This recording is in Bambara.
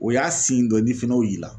O y'a dɔ ye n'i fɛnɛ y"o y'i la